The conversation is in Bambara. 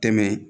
Tɛmɛ